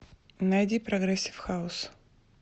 найди прогрессив хаус